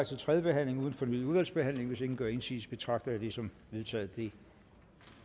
til tredje behandling uden fornyet udvalgsbehandling hvis ingen gør indsigelse betragter jeg det som vedtaget det